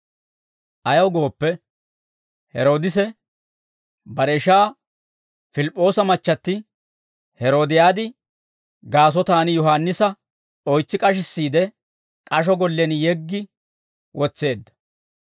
Ayaw gooppe, Heroodisi bare ishaa Pilip'p'oosa machchatti Heeroodiyaadi gaasotaan Yohaannisa oytsi k'ashissiide, k'asho gollen yeggi wotseedda.